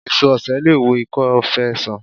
Èso osè leè wo ìkọ́ fe sàn